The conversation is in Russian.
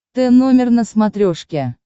т номер на смотрешке